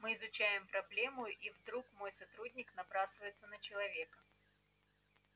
мы изучаем проблему и вдруг мой сотрудник набрасывается на человека